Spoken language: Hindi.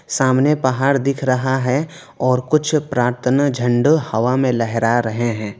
सामने पहाड़ दिख रहा है और कुछ प्रार्थना झंडो हवा में लहरा रहे हैं।